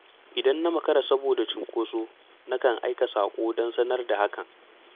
Idan na makara saboda cunkoso na kan aika saƙo don sanar da hakan.